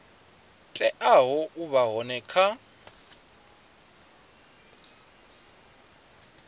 teaho u vha hone kha